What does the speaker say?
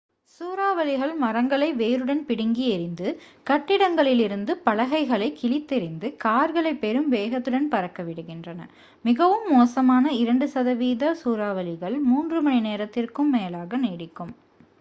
சூறாவளிகள் மரங்களை வேருடன் பிடுங்கி எறிந்து கட்டிடங்களில் இருந்து பலகைகளைக் கிழித்தெறிந்து கார்களைப் பெரும் வேகத்துடன் பறக்க விடுகின்றன மிகவும் மோசமான இரண்டு சதவிகித சூறாவளிகள் மூன்று மணி நேரத்திற்கும் மேலாக நீடிக்கும்